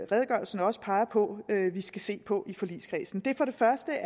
redegørelsen også peger på vi skal se på i forligskredsen for det første